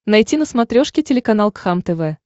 найти на смотрешке телеканал кхлм тв